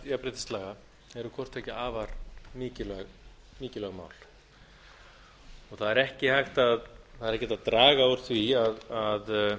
jafnréttislaga eru hvort tveggja afar mikilvæg mál það er ekki hægt að draga úr því að